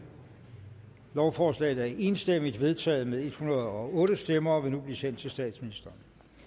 lovforslaget er enstemmigt vedtaget med en hundrede og otte stemmer og vil nu blive sendt til statsministeren